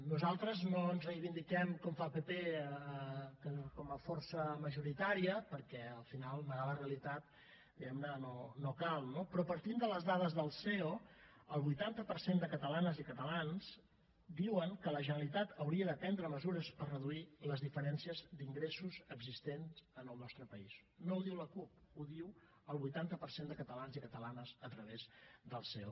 nosaltres no ens reivindiquem com fa el pp com a força majoritària perquè al final negar la realitat diguem ne no cal no però partint de les dades del ceo el vuitanta per cent de catalanes i catalans diuen que la generalitat hauria de prendre mesures per reduir les diferències d’ingressos existents en el nostre país no ho diu la cup ho diu el vuitanta per cent de catalans i catalanes a través del ceo